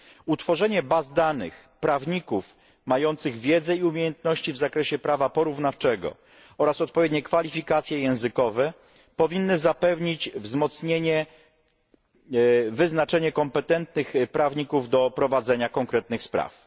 Utworzenie baz danych prawników mających wiedzę i umiejętności w zakresie prawa porównawczego oraz odpowiednie kwalifikacje językowe powinno zapewnić wyznaczanie kompetentnych prawników do prowadzenia konkretnych spraw.